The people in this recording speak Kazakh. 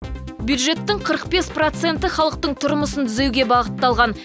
бюджеттің қырық бес проценті халықтың тұрмысын түзеуге бағытталған